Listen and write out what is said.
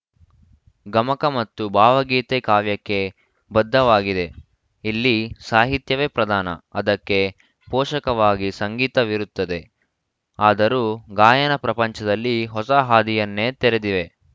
ಗಮಕ ಮತ್ತು ಭಾವಗೀತೆ ಕಾವ್ಯಕ್ಕೆ ಬದ್ಧವಾಗಿದೆ ಇಲ್ಲಿ ಸಾಹಿತ್ಯವೇ ಪ್ರಧಾನ ಅದಕ್ಕೆ ಪೋಷಕವಾಗಿ ಸಂಗೀತವಿರುತ್ತದೆ ಆದರೂ ಗಾಯನ ಪ್ರಪಂಚದಲ್ಲಿ ಹೊಸ ಹಾದಿಯನ್ನೇ ತೆರೆದಿವೆ